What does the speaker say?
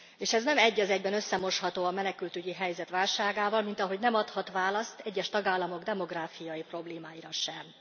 És ez nem összemosható a menekültügyi helyzet válságával, mint ahogy nem adhat választ egyes tagállamok demográfiai problémáira sem.